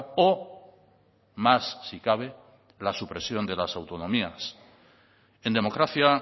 o más si cabe la supresión de las autonomías en democracia